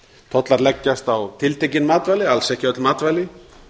tollar leggjast á tiltekin matvæli alls ekki öll matvæli